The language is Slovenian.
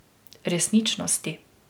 Resničnosti.